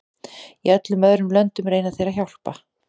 Í öllum öðrum löndum reyna þeir að hjálpa.